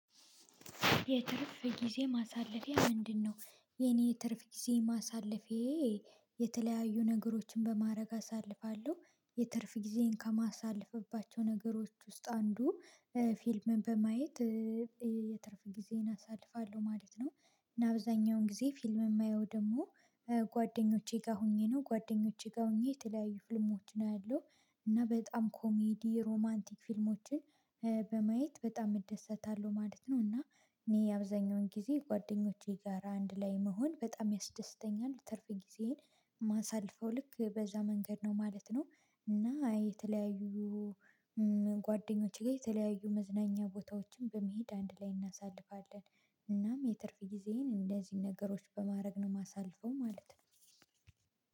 የትርፍ ጊዜ ማሳለፊያ ምንድነው? የኔ የትርፍ ጊዜ ማሳለፌ። የተለያዩ ነገሮችን በማድረግ አሳልፋለሁ የትርፍ ጊዜን ከማሳልፍባቸው ነገሮች ውስጥ አንዱ ፊልም በማየት የትርፍ ጊዜን አሳልፋለሁ ማለት ነው። እና አብዛኛውን ጊዜ ፊልም የማየው ደግሞ ጓደኞቼ ጋር ሆኜ ነው ጓደኞቼ ጋር ሆኜ የተለያዩ ፊልሞች ነው ያለው። እና በጣም ኮሜዲ ሮማንቲክ ፊልሞችን በማየት በጣም እደሰታለሁ ማለት ነው። እና እኔ የአብዛኛውን ጊዜ ጓደኞቼ ጋር አንድ ላይ መሆን በጣም ያስደስተኛል ትርፍ ጊዜዬን የማሳልፈው ልክ በዛ መንገድ ነው ማለት ነው። እና የተለያዩ ጓደኞቼጋ የተለያዩ መዝናኛ ቦታዎችን በመሄድ አንድ ላይ እናሳልፋለን። እናም የትርፍ ጊዜዬን እንደዚህ ነገሮች በማድረግ ነው የማሳልፈው ማለት ነው።